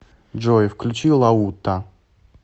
джой включи лаута